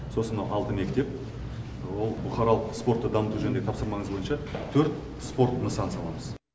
сосын мынау алты мектеп ол бұқаралық спортты дамыту жөніндегі тапсырмаңыз бойынша төрт спорт нысанын саламыз